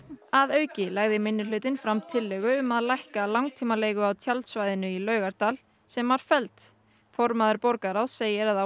að auki lagði minnihlutinn fram tillögu um að lækka langtímaleigu á tjaldsvæðinu í Laugardal sem var felld formaður borgarráðs segir að á